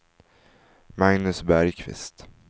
Magnus Bergkvist